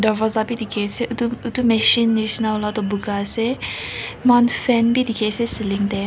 darvaza bi dikhiase edu edu machine nishina la tu buka ase mohan fan bi dikhiase ceiling te--